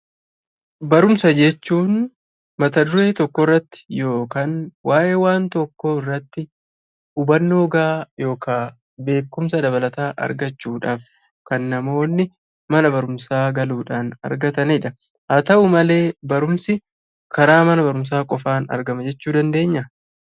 Barumsa jechuun; Mata duree tokko irraatti ykn waa'ee waan tokko irraatti hubannoo ga'a (bekumsaa) dabalataa argachuudhaaf kan namooni mana barumsaa galuudhaan argatanidha. Haa ta'u malee barumsi karaa mana barumsaa qofan argama jechuu dandeenyaa?